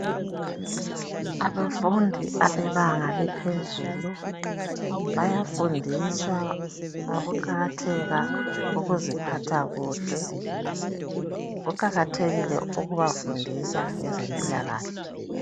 Abafundi bebanga laphezulu bayafundiswa ngokuqakatheka kokuziphatha kuhle .Kuqakathekile ukubafundisa ngezempilakahle .